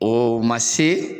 O man se